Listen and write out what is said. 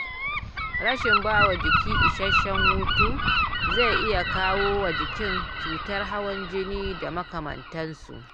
rashin bawa jiki isasshen hutu zai iya kawowa jiki cutar hawan jini da makamantansu